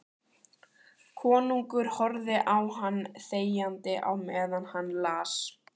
Konungur horfði á hann þegjandi á meðan hann las